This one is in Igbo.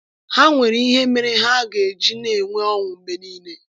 Ha nwere ihe mere ha ga-eji na-enwe ọṅụ mgbe niile.